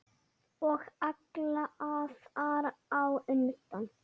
Og alla þar á undan.